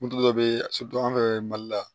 Moto dɔ bɛ ye anw fɛ mali la